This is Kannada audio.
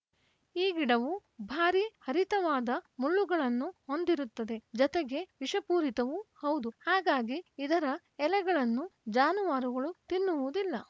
ಈ ಗಿಡವು ಭಾರಿ ಹರಿತವಾದ ಮುಳ್ಳುಗಳನ್ನು ಹೊಂದಿರುತ್ತದೆ ಜೊತೆಗೆ ವಿಷಪೂರಿತವೂ ಹೌದು ಹಾಗಾಗಿ ಇದರ ಎಲೆಗಳನ್ನು ಜಾನುವಾರುಗಳು ತಿನ್ನುವುದಿಲ್ಲ